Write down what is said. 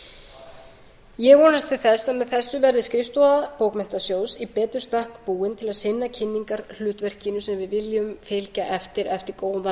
til þess að með þessu verði skrifstofa bókmenntasjóðs í betur stakk búin til að sinna kunningjahlutverkinu sem við viljum fylgja eftir eftir góðan